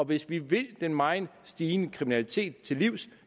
hvis vi vil den meget stigende kriminalitet til livs